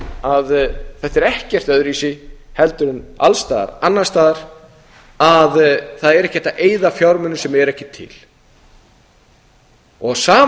að þetta er ekkert öðruvísi heldur en alls staðar annars staðar að það er ekki hægt að eyða fjármunum sem eru ekki til á sama